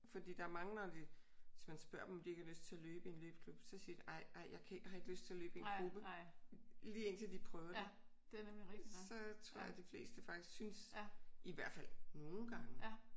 Fordi der er mange når de hvis man spørger dem om de ikke har lyst til at løbe i en løbeklub så siger de ej ej jeg kan ikke jeg har ikke lyst til at løbe i en gruppe. Lige indtil de prøver det. Så tror jeg at de fleste faktisk synes i hvert fald nogle gange